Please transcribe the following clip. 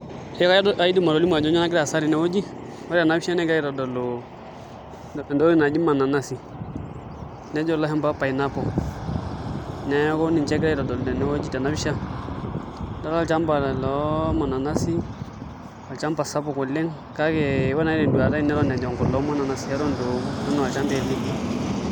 Aidim atolimu ajo kainyioo nagira aasa tenewueji ore ena pisha nagirai aitodolu naa entoki naji mananasi najo ilashumba pineaple neeku ninche egirai aitodolu tenewueji, tena pisha adolta olchamba loo mananasi olchamba sapuk oleng' kake ee ore naau te nduata aai neton eng'orr kulo mananasi eton itu eoku eton aa olchamba etii.